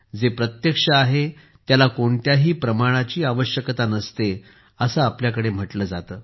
जे प्रत्यक्ष आहे त्याला कोणत्याही पुराव्याची आवश्यकता नसते असे आपल्याकडे म्हटले जाते